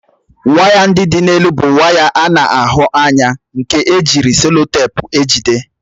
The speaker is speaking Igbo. Waya ndị dị n'elu bụ waya a na-ahụ anya nke ejiri seloteepu ejide